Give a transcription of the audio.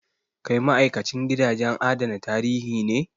Kai ma'aikacin gidajen adana tarihi ne?